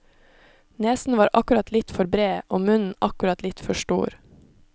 Nesen var akkurat litt for bred og munnen akkurat litt for stor.